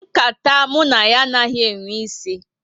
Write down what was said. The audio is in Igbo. Nkata mụ na ya anaghị enwe isi